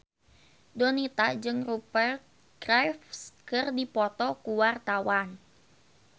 Donita jeung Rupert Graves keur dipoto ku wartawan